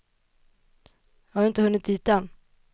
Jag har inte hunnit dit än.